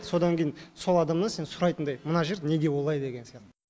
содан кейін сол адамнан сен сұрайтындай мына жер неге олай деген сияқты